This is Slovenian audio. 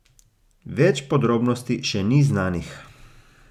Več podrobnosti še ni znanih.